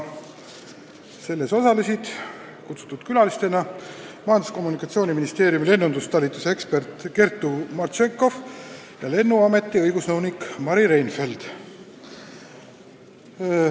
Sellel osalesid kutsutud külalistena Majandus- ja Kommunikatsiooniministeeriumi lennundustalituse ekspert Kertu Martšenkov ja Lennuameti õigusnõunik Mari Reinfeldt.